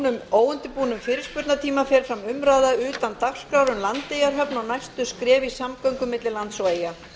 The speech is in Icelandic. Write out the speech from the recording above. um klukkan ellefu fer fram umræða utan dagskrár um landeyjahöfn og næstu skref í samgöngum milli lands og eyja